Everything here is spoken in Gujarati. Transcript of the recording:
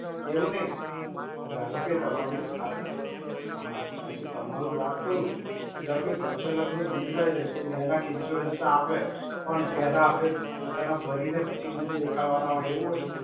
એવું નહિ. ધારો કે તમારું આ, હમ્મ, તમારું વાત કરું, ધારોકે ત્રણ-ચાર લાખ નું bill થાય ત્યારેતો બે લાખ insurance ના આવે, પણ પેહલા આપણે પોતાના ભરીને પછી bill દેખાડવાના હોય એવું હોય?